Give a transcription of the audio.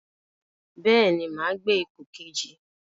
Bẹ́ẹ̀ni, máa gbé ipò kejì.